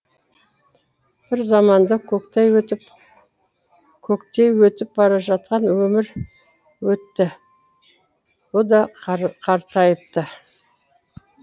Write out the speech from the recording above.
бір заманда көктей өтіп баражатқан өмір өтті бұ да қартайыпты